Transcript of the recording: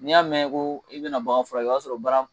N'i y'a mɛn ko i bɛna bagan furakɛ o y'a sɔrɔ baara